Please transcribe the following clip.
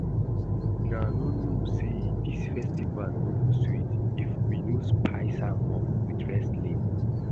Una no know say dis festival no go sweet if we no spice am up with wrestling